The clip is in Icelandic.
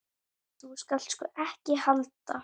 Þú skalt sko ekki halda.